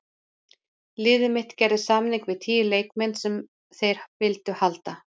Liðið mitt gerði samninga við tíu leikmenn sem þeir vildu halda.